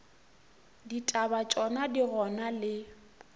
ditaba tšona di gona le